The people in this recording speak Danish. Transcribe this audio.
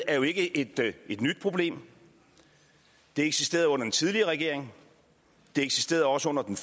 er jo ikke et et nyt problem det eksisterede under den tidligere regering det eksisterede også under den